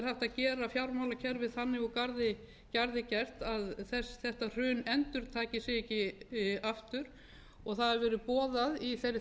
gera fjármálakerfið þannig úr garði að þetta hrun endurtaki sig ekki aftur og það hafa verið boðaðar í þeirri